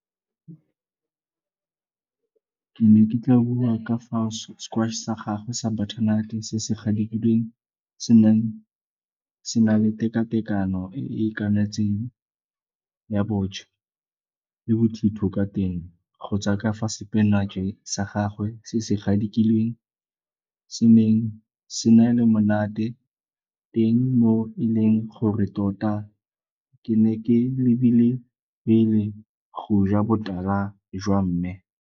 Ke ne ke tla bua ka fao sa gagwe sa butternut-e se se gadikilweng se neng se na le teka-tekano e e itakanetseng ya bontšha le bothitho ka teng, go tswa ka fa sepinatšhe sa gagwe se se gadikilweng se neng se na le monate teng mo e leng gore tota ke ne ke lebile pele go ja botala jwa mme.